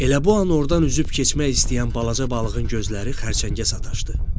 Elə bu an ordan üzüb keçmək istəyən balaca balığın gözləri xərçəngə sataşdı.